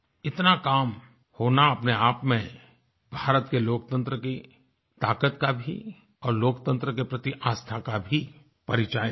इतना काम होना अपने आप में भारत के लोकतंत्र की ताकत का भी और लोकतंत्र के प्रति आस्था का भी परिचायक है